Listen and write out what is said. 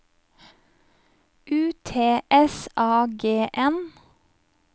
U T S A G N